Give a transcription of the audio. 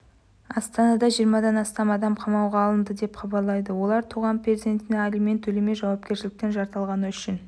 астанада жиырмадан астам адам қамауға алынды деп хабарлайды олар туған перзентіне алимент төлемей жауапкершіліктен жалтарғаны үшін